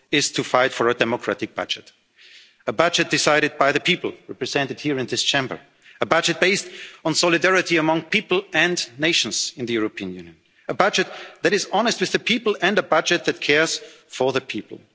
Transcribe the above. is to fight for a democratic budget, a budget decided by the people represented here in this Chamber, a budget based on solidarity among people and nations in the European Union, a budget that is honest with the people and a budget that cares for the